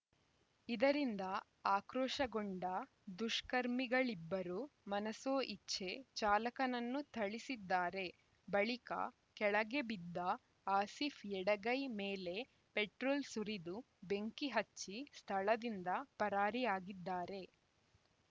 ಇದರಿಂದ ಆಕ್ರೋಶಗೊಂಡ ದುಷ್ಕರ್ಮಿಗಳಿಬ್ಬರು ಮನಸೋ ಇಚ್ಛೆ ಚಾಲಕನನ್ನು ಥಳಿಸಿದ್ದಾರೆ ಬಳಿಕ ಕೆಳಗೆ ಬಿದ್ದ ಆಸೀಫ್‌ ಎಡಗೈ ಮೇಲೆ ಪೆಟ್ರೋಲ್‌ ಸುರಿದು ಬೆಂಕಿ ಹಚ್ಚಿ ಸ್ಥಳದಿಂದ ಪರಾರಿಯಾಗಿದ್ದಾರೆ